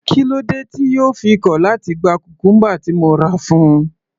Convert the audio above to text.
Kílódé tí yóò fi kọ̀ láti gba cucumber tí mo rà fún un.